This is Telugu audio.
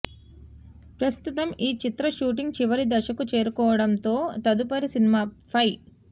ప్రస్తుతం ఈ చిత్ర షూటింగ్ చివరి దశకు చేరుకోవడం తో తదుపరి సినిమా ఫై